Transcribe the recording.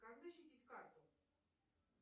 как защитить карту